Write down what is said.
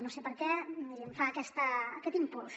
no sé per què miri em fa aquest impuls